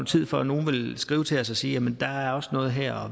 tid før nogle vil skrive til os og sige jamen der er også noget her og